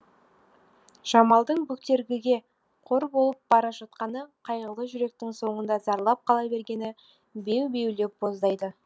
жамалдың бөктергіге қор болып бара жатқаны қайғылы жүректің соңында зарлап қала бергені беу беулеп боздайды